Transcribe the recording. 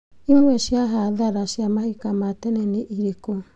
Imwe cia hathara cia mahika rĩa tene nĩ irĩkũ?